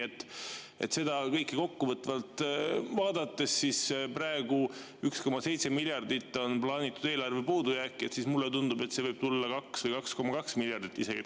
Kui seda kõike kokkuvõtvalt vaadata, siis praegu on 1,7 miljardit plaanitud eelarve puudujääki, aga mulle tundub, et see võib tulla 2 või 2,2 miljardit isegi.